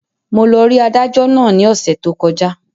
Mo lọ rí adájọ́ náà ní ọ̀sẹ̀ tó kọjá